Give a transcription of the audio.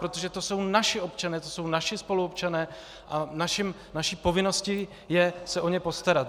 Protože to jsou naši občané, to jsou naši spoluobčané a naší povinností je se o ně postarat.